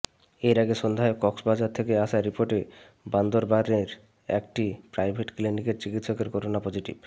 এর আগে সন্ধ্যায় কক্সবাজার থেকে আসা রিপোর্টে বান্দরবানের একটি প্রাইভেট ক্লিনিকের চিকিৎসকের করোনা পজিটিভ